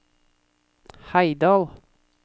Heidal